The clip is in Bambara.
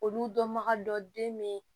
Olu dɔnbaga dɔ den be ye